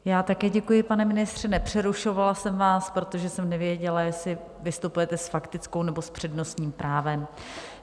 Já také děkuji, pane ministře, nepřerušovala jsem vás, protože jsem nevěděla, jestli vystupujete s faktickou, nebo s přednostním právem.